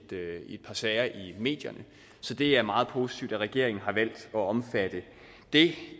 par sager i medierne så det er meget positivt at regeringen har valgt at omfatte det